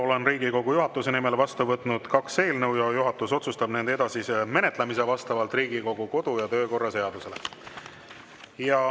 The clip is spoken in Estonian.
Olen Riigikogu juhatuse nimel vastu võtnud kaks eelnõu ja juhatus otsustab nende edasise menetlemise vastavalt Riigikogu kodu‑ ja töökorra seadusele.